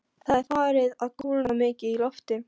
Það er farið að kólna mikið í lofti.